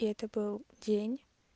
и это был день